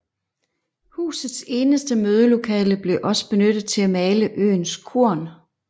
Husets eneste mødelokale blev også benyttet til at male øens korn